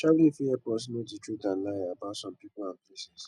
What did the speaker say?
travelling fit help us know the truth and lie about some people and places